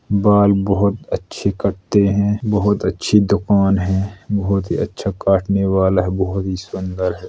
बाल बोहोत अच्छे कटते हैं। बोहोत अच्छे दुकान है। बोहोत ही अच्छा काटने वाला है। बोहोत ही सुंदर है।